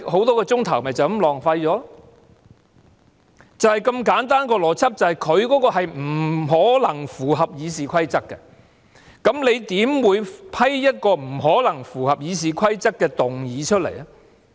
當中的邏輯是，局長的議案是不可能符合《議事規則》的，那麼主席你怎會批准一項不可能符合《議事規則》的議案呢？